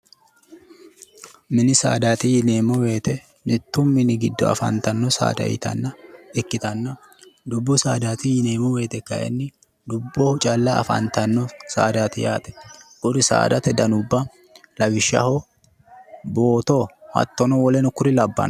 Mini saadati yineemmo woyite mittu mini giddo afantanno saada ikkitanna, dubbu saafaati yineemmo woyite kayinni dubboho calla afantanno saadaati yaate. Kuri saadate danubba lawishshaho booto hattonono kuri labbanno.